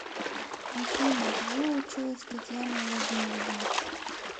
афина где училась татьяна владимировна